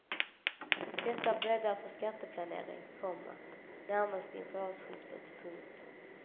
Detta bäddar för skatteplanering, komma närmast inför årsskiftet. punkt